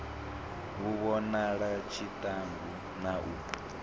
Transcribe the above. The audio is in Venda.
hu vhonale tshiṱangu na u